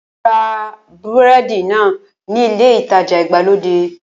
Mo ra búrẹ́dì náà ní ilé ìtajà ìgbàlódé